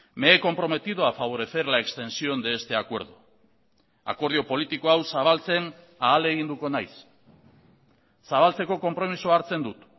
me he comprometido a favorecer la extensión de este acuerdo akordio politiko hau zabaltzen ahaleginduko naiz zabaltzeko konpromisoa hartzen dut